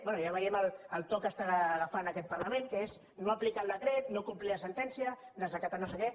bé ja veiem el to que està agafant aquest parlament que és no aplicar el decret no complir la sentència desacatar no sé què